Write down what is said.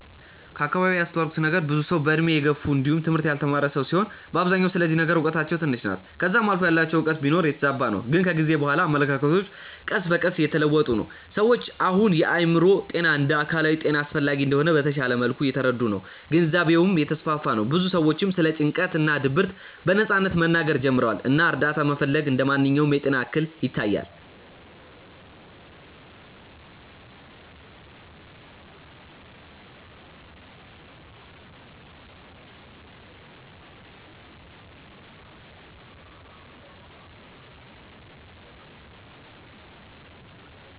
ከአከባቢዬ ያስተዋልኩት ነገር ብዙ ሰዉ በእድሜ የገፉ እንዲውም ትምህርት ያልተማረ ሰዉ ሲሆኑ በአብዛኛው ስለዚህ ነገር እውቀታቸው ትንሽ ናት ከዛም አልፎ ያላቸውም እውቀት ቢኖር የተዛባ ነው ግን ከጊዜ በኋላ አመለካከቶች ቀስ በቀስ እየተለወጡ ነው። ሰዎች አሁን የአእምሮ ጤና እንደ አካላዊ ጤና አስፈላጊ እንደሆነ በተሻለ መልኩ እየተረዱ ነው ግንዛቤውም እየተስፋፋ ነው ብዙ ሰዎችም ስለ ጭንቀት እና ድብርት በነጻነት መናገር ጀምረዋል እና እርዳታ መፈለግ እንደ ማንኛውም የጤና እክል ይታያል።